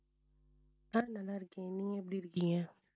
ஆஹ் நல்லா இருக்கேன் நீங்க எப்படி இருக்கீங்க